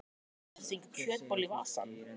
Ertu að stinga kjötbollu í vasann?